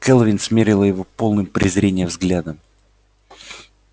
кэлвин смерила его полным презрения взглядом